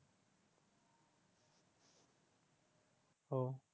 আহ